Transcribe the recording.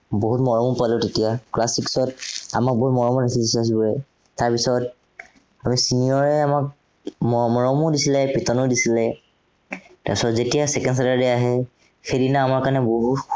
বহুত মৰমো পালো তেতিয়া, class six ত আমাক বহুত মৰম কৰিছিল সৱেই। তাৰপিছত, খালি senior এ আমাক মৰমো দিছিলে, পিটনো দিছিলে। তাৰপিছত যেতিয়া second Saturday আহে, সেইদিনা আমাৰ কাৰণে বহুত